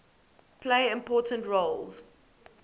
play important roles